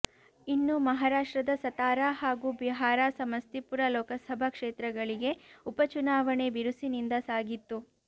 ಇನ್ನು ಮಹಾರಾಷ್ಟ್ರದ ಸತಾರ ಹಾಗೂ ಬಿಹಾರ ಸಮಸ್ತಿಪುರ ಲೋಕಸಭಾ ಕ್ಷೇತ್ರಗಳಿಗೆ ಉಪಚುನಾವಣೆ ಬಿರುಸಿನಿಂದ ಸಾಗಿತ್ತು